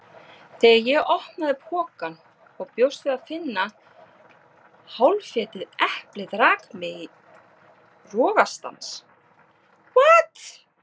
Þegar ég opnaði pokann og bjóst við að finna hálfétið eplið rak mig í rogastans.